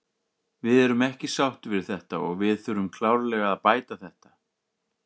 Við erum ekki sáttir við þetta og við þurfum klárlega að bæta þetta.